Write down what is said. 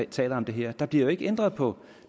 taler om det her der bliver jo ikke ændret på